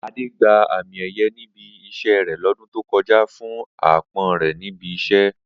Adé gba àmì è̩ye̩ ní ibi is̩é̩ rè̩ ló̩dún tó ko̩jà fún aápo̩n re̩ ní ibi is̩é̩